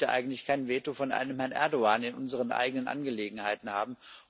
Und ich möchte eigentlich kein Veto von einem Herrn Erdoğan in unseren eigenen Angelegenheiten haben.